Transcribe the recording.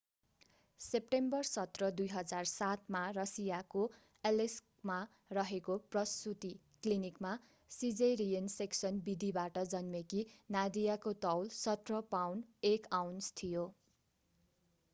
September 17 2007 मा रसियाको एलेस्कमा रहेको प्रसूति क्लिनिकमा सिजेरियन सेक्सन विधिबाट जन्मेकी नादियाको तौल 17 पाउण्ड 1 आउन्स थियो